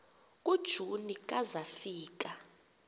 kujuni ka zafika